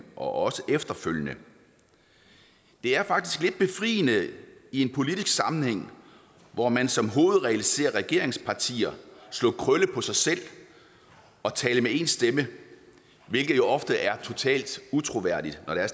og også efterfølgende det er faktisk lidt befriende i en politisk sammenhæng hvor man som hovedregel ser at regeringspartier slår krølle på sig selv og taler med én stemme hvilket jo ofte er totalt utroværdigt når det